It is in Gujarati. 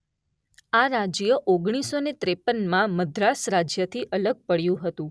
આ રાજ્ય ઓગણીસો અને ત્રેપનમાં મદ્રાસ રાજ્યથી અલગ પડ્યું હતું.